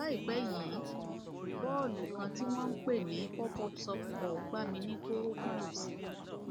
láìpẹ yìí bọọlù kan tí wọn ń pè ní popup softball gbá mi ní kórópọn òsì